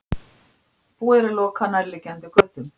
Búið er að loka nærliggjandi götum